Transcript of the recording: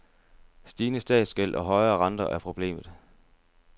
Stigende statsgæld og højere renter er problemet.